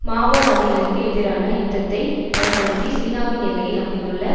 மாவோவாதிகளுக்கு எதிரான யுத்தத்தை பயன்படுத்தி சீனாவின் எல்லையில் அமைந்துள்ள